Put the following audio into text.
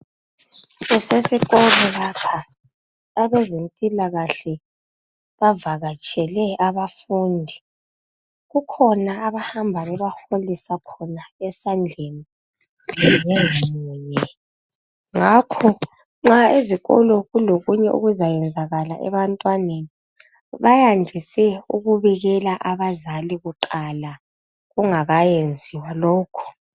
Kusesikolo lapha. Abezempilakahle bavakatshele abafundi. Kukhona abahamba bebaholisa khona esandleni munyengamunye. Ngakho nxa ezikolo kulokunye okuzayenzekala ebantwaneni ,bayandise ukubikela abazali kuqala kungakayenziwa lokho.